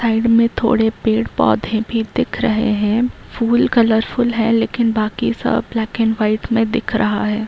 Side में थोड़े पेड़ पौधे भी दिख रहे हैं फुल कलरफुल है लेकिन बाकि सब ब्लैक एंड वाइट में दिख रहा है।